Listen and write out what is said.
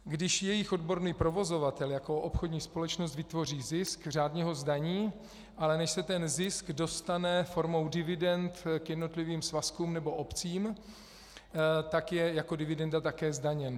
Když jejich odborný provozovatel jako obchodní společnost vytvoří zisk, řádně ho zdaní, ale než se ten zisk dostane formou dividend k jednotlivým svazkům nebo obcím, tak je jako dividenda také zdaněn.